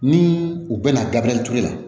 Ni u bɛna gabriel ture la